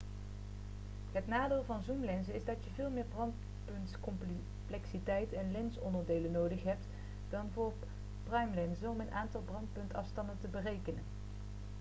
het nadeel van zoomlenzen is dat je veel meer brandpuntscomplexiteit en lensonderdelen nodig hebt dan voor primelenzen om een aantal brandpuntsafstanden te bereiken